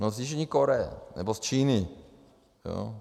No z Jižní Koreje nebo z Číny.